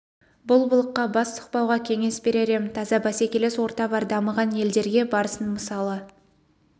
бұл былыққа бас сұқпауға кеңес берер ем таза бәсекелес орта бар дамыған елдерге барсын мысалы